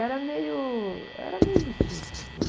Era meio... Era meio elitista, sim.